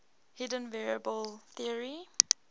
hidden variable theory